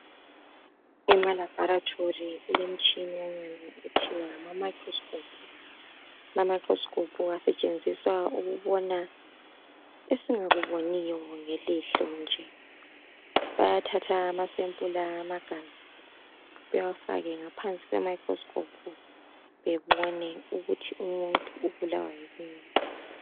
EmaLaboratory kulemitshinanyana ethiwa ngama microscope. Ama microscope asetshenziswa ukubona esingakuboniyo ngelihlo nje. Bayathatha amasempula amagazi, bawafake ngaphansi kwemicroscope. Bebone ukuthi umuntu ubulawa yikuyini.